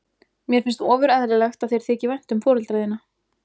Mér finnst ofur eðlilegt að þér þyki vænt um foreldra þína.